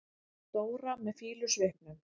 Dóra með fýlusvipnum.